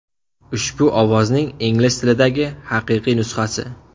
Ushbu ovozning ingliz tilidagi haqiqiy nusxasi.